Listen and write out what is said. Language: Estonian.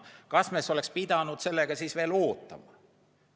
Kas me siis oleks pidanud sellega veel ootama?